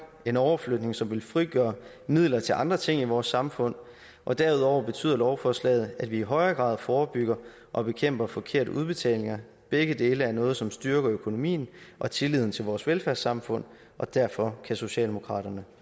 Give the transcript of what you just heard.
en overflytning som vil frigøre midler til andre ting i vores samfund og derudover betyder lovforslaget at vi i højere grad forebygger og bekæmper forkerte udbetalinger begge dele er noget som styrker økonomien og tilliden til vores velfærdssamfund og derfor kan socialdemokraterne